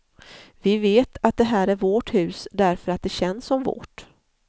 Vi vet att det här är vårt hus, därför att det känns som vårt.